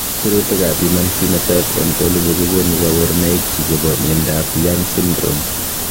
Sirutikab Human Phenotype Ontology kokonu koborunoikchu chebo miondab Young syndrome.